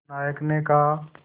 नायक ने कहा